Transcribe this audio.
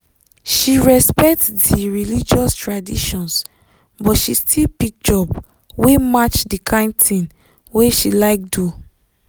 she respect di religious traditions but she still pick job wey match di kind thing wey she like do.